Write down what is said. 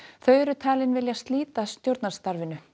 þau eru talin vilja slíta stjórnarsamstarfinu